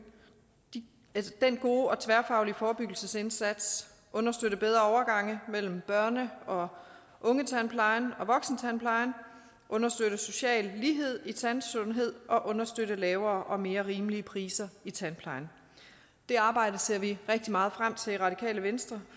den gode og tværfaglige forebyggelsesindsats understøtte bedre overgang mellem børne og ungetandplejen og voksentandplejen understøtte social lighed i tandsundhed og understøtte lavere og mere rimelige priser i tandplejen det arbejde ser vi rigtig meget frem til i radikale venstre